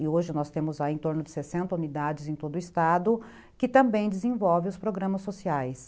e hoje nós temos em torno de sessenta unidades em todo o Estado, que também desenvolve os programas sociais.